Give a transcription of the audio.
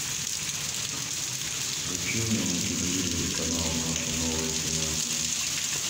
включи мне на телевизоре канал наше новое кино